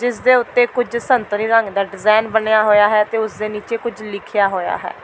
ਜਿਸ ਦੇ ਉੱਤੇ ਕੁੱਝ ਸੰਤਰੀ ਰੰਗ ਦਾ ਡਿਜ਼ਾਈਨ ਬਣਿਆ ਹੋਈਆ ਹੈ ਤੇ ਉਸ ਦੇ ਨੀਚੇ ਕੁੱਝ ਲਿਖਿਆ ਹੋਇਆ ਹੈ।